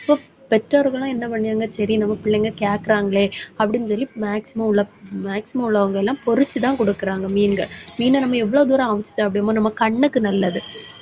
பெற்றோர்களும் என்ன பண்ணுவாங்க சரி, நம்ம பிள்ளைங்க கேட்கிறாங்களே அப்படின்னு சொல்லி maximum உள்ள maximum உள்ளவங்க எல்லாம், பொரிச்சுதான் கொடுக்குறாங்க மீன்கள். மீனை, நம்ம எவ்வளவு தூரம் அவிச்சு சாப்பிடறோமோ நம்ம கண்ணுக்கு நல்லது